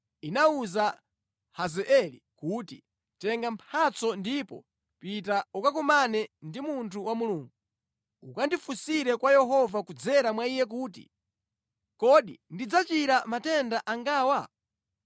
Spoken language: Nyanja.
inawuza Hazaeli kuti, “Tenga mphatso ndipo pita ukakumane ndi munthu wa Mulungu. Ukandifunsire kwa Yehova kudzera mwa iye kuti, ‘Kodi ndidzachira matenda angawa?’ ”